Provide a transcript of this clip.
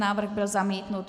Návrh byl zamítnut.